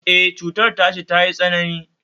E, cutar tashi tayi tsanani